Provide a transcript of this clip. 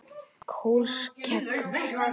Kolskeggur